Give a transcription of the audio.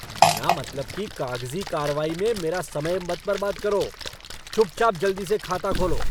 बिना मतलब की कागज़ी कार्रवाई में मेरा समय मत बर्बाद करो। चुपचाप जल्दी से खाता खोलो!